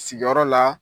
Sigiyɔrɔ la